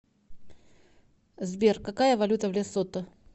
сбер какая валюта в лесото